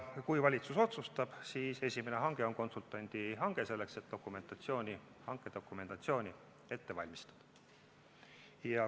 Kui valitsus otsustab nii, siis esimene hange on konsultandi hange, selleks et hankedokumentatsiooni jms ette valmistada.